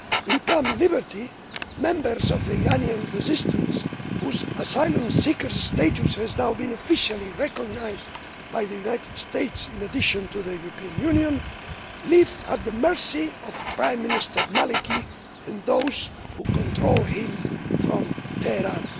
In Camp Liberty members of the Iranian Resistance, whose asylum seeker status has now been officially recognised by the United States in addition to the European Union, live at the mercy of Prime Minister al Maliki and those who control him from Tehran.